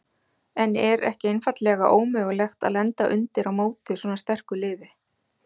En er ekki einfaldlega ómögulegt að lenda undir á móti svona sterku liði?